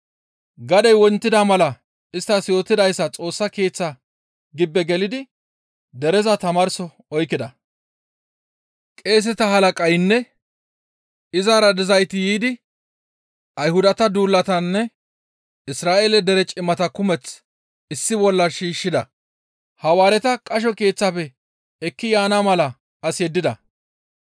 Gadey wontida mala isttas yootidayssa Xoossa Keeththaa gibbe gelidi dereza tamaarso oykkida; qeeseta halaqaynne izara dizayti yiidi Ayhudata duulataanne Isra7eele dere cimata kumeth issi bolla shiishshida; Hawaareta qasho keeththafe ekki yaana mala as yeddida.